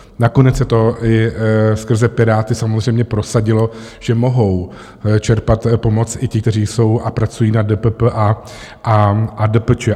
Nakonec se to i skrze Piráty samozřejmě prosadilo, že mohou čerpat pomoc i ti, kteří jsou a pracují na DPP a DPČ.